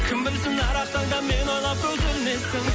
кім білсін әр ақ таңда мені ойлап көз ілмейсің